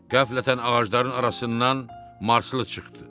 Qəflətən ağacların arasından marslı çıxdı.